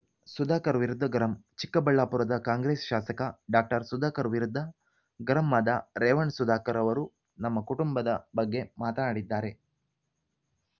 ಸುಧಾಕರ್‌ ವಿರುದ್ಧ ಗರಂ ಚಿಕ್ಕಬಳ್ಳಾಪುರದ ಕಾಂಗ್ರೆಸ್‌ ಶಾಸಕ ಡಾಕ್ಟರ್ ಸುಧಾಕರ್‌ ವಿರುದ್ಧ ಗರಂ ಆದ ರೇವಣ್ಣ ಸುಧಾಕರ್‌ ಅವರು ನಮ್ಮ ಕುಟುಂಬದ ಬಗ್ಗೆ ಮಾತನಾಡಿದ್ದಾರೆ